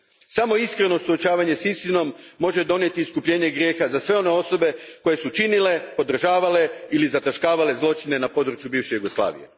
Samo iskreno suočavanje s istinom može donijeti iskupljenje grijeha za sve one osobe koje su činile, podržavale ili zataškavale zločine na području bivše Jugoslavije.